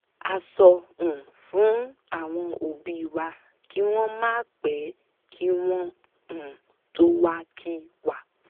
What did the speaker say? a sọ um fún àwọn òbí wa kí wọ́n máa pè kí wọ́n um tó wá kí wa